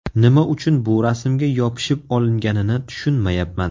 Nima uchun bu rasmga yopishib olinganini tushunmayapman.